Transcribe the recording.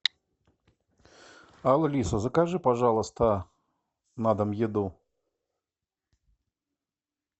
алиса закажи пожалуйста на дом еду